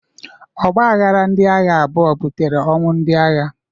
Ọgbaghara ndị agha abụọ butere ọnwụ ndị agha.